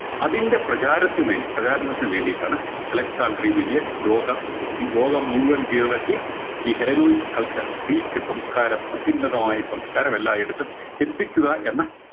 അതിൻറെ പ്രചാരത്തിനുമേൽ പ്രചാരണത്തിനു വേണ്ടിയിട്ടാണ് അലക്‌സാണ്ടർ ഈ വലിയ ലോക ഈ ലോകം മുഴുവൻ കീഴടക്കി ഈ healenoix culture ഗ്രീക്ക് സംസ്കാരം അത്യുന്നതമായ സംസ്കാരം എല്ലായിടത്തും എത്തിക്കുക എന്ന